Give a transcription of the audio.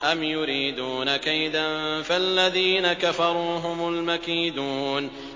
أَمْ يُرِيدُونَ كَيْدًا ۖ فَالَّذِينَ كَفَرُوا هُمُ الْمَكِيدُونَ